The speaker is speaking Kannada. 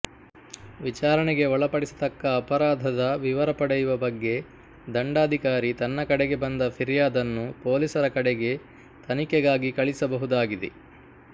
ವಿಚಾರಣೆಗೆ ಒಳಪಡಿಸತಕ್ಕ ಅಪರಾಧದ ವಿವರ ಪಡೆಯುವ ಬಗ್ಗೆ ದಂಡಾಧಿಕಾರಿ ತನ್ನ ಕಡೆಗೆ ಬಂದ ಫಿರ್ಯಾದನ್ನು ಪೋಲಿಸರ ಕಡೆಗೆ ತನಿಖೆಗಾಗಿ ಕಳಿಸಬಹುದಾಗಿದೆ